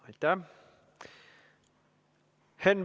Aitäh!